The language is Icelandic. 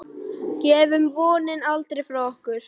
Gefum vonina aldrei frá okkur.